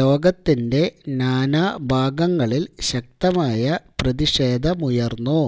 ലോകത്തിന്റെ നാനാ ഭാഗങ്ങളില് ശക്തമായ പ്രതിഷേധമുയര്ന്നു